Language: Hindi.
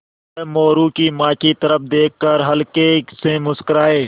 वह मोरू की माँ की तरफ़ देख कर हल्के से मुस्कराये